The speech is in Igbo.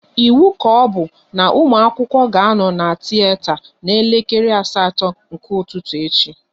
Ịwu kaobu na ụmụ akwụkwọ ga anọ na tiyeta na elekere asatọ nke ụtụtụ echi!